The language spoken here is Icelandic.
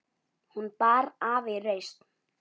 Hún bar af í reisn.